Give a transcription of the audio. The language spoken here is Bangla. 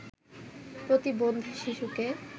প্রতিবন্ধী শিশুকে